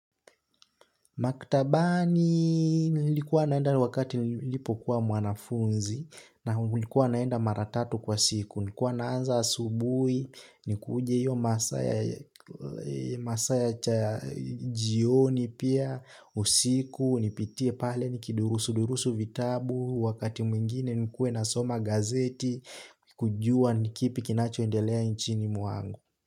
Maktabani nilikuwa naenda wakati nilipokuwa mwanafunzi na ulikuwa naenda mara tatu kwa siku. Nilikua naanza asubuhi, nikuje hiyo masaa ya jioni pia usiku nipitie pale nikidurusudurusu vitabu wakati mwingine nilikuwa nasoma gazeti kujua ni kipi kinachoendelea nchini mwangu.